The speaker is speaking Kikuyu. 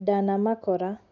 Ndanamakora